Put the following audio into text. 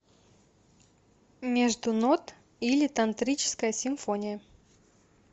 между нот или тантрическая симфония